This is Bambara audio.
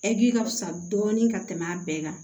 ka fisa dɔɔnin ka tɛmɛ a bɛɛ kan